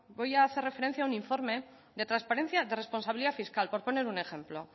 voy a hacer referencia a un informe de transparencia de responsabilidad fiscal por poner un ejemplo